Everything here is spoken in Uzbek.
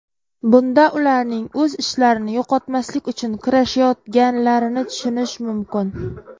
Bunda ularning o‘z ishlarini yo‘qotmaslik uchun kurashayotganlarini tushunish mumkin.